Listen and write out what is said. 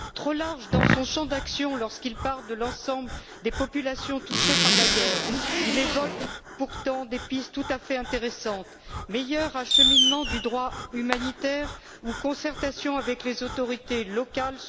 Trop large dans son champ d'action lorsqu'il parle de l'ensemble des populations touchées par la guerre, il évoque pourtant des pistes tout à fait intéressantes, comme un meilleur acheminement du droit humanitaire ou une concertation avec les autorités locales.